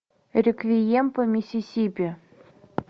реквием по миссисипи